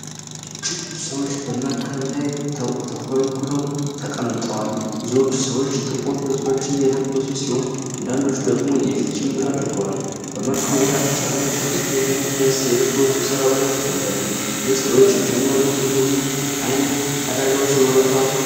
እጅግ ብዙ ሰዎች በመርከብ ላይ ተኮልኩለው ተቀምጠዋል። ብዙዎቹ ሰዎች ጥቁር ልብሶችን የለበሱ ሲሆን፣ አንዳንዶቹ ደግሞ የፊት ጭንብል አድርገዋል። በመርከቡ ዳርቻ ላይ ጥቂት የደንብ ልብስ የለበሱ ሰራተኞች ይታያሉ። እነዚህ ሰዎች የጀመሩት ጉዞ ምን አይነት አደጋዎች ይኖሩታል?